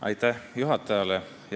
Aitäh juhatajale!